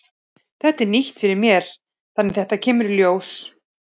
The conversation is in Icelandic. Þetta er nýtt fyrir mér þannig að þetta kemur í ljós.